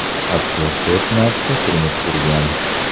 Aktyor to‘rt marta turmush qurgan.